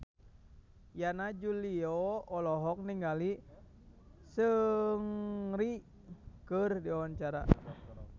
Yana Julio olohok ningali Seungri keur diwawancara